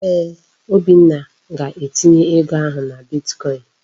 Eeh, Obinna ga-etinye ego ahụ na bitkọin.